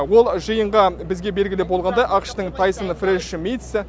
ол жиынға бізге белгілі болғандай ақш тың тайсоны фреш митс